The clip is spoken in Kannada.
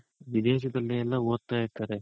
ವಿದೇಶದಲ್ಲೆಲ್ಲ ಒದ್ತಾ ಇರ್ತಾರೆ.